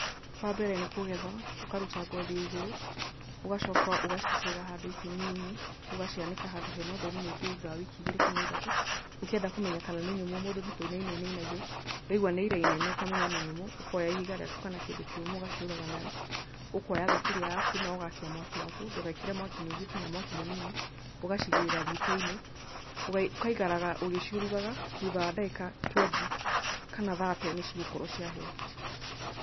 Wa mbere nĩ kũgetha, ũkaruta ngothi ya igũrũ, ũgacoka ũgaciitĩrĩra handũ ikũnia-inĩ, ũgacianĩka handũ hena ũtheri mũingĩ thutha wa wiki igĩrĩ kana ithatũ. Ũkĩenda kũmenya kana nĩ nyũmũ mũndũ nĩ kũinainia ainainagia, waigua nĩ irainaina ũkamenya nĩ nyũmũ, ũkooya ihiga rĩaku kana kĩndũ kĩũmũ ũgaciũraga nayo, ũkooya thaburia yaku na ũgaakia mwaki waku, ndũgeekĩre mwaki mũingĩ kana mwaki mũnini, ũgaciigĩrĩra riiko-inĩ, ũgaikaraga ũgĩciurugaga, thutha wa ndagĩka twendi kana thate nĩ cigũkorwo ciahĩa.